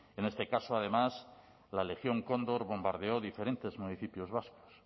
en este caso además la legión cóndor bombardeó diferentes municipios vascos